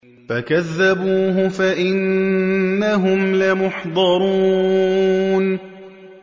فَكَذَّبُوهُ فَإِنَّهُمْ لَمُحْضَرُونَ